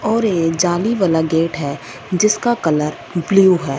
और ये जाली वाला गेट है जिसका कलर ब्लू है।